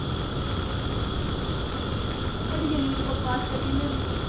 ਤੁਹਾਡੇ ਜਿੰਨੀ ਮੈਨੂੰ ਬਕਵਾਸ ਕਰਣੀ ਨੀ ਆਉਂਦੀ